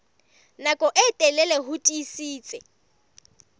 nako e telele ho tiisitse